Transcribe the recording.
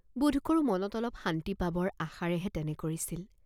বোধকৰোঁ মনত অলপ শান্তি পাবৰ আশাৰেহে তেনে কৰিছিল।